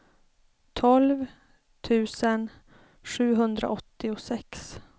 tolv tusen sjuhundraåttiosex